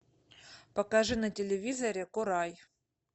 покажи на телевизоре курай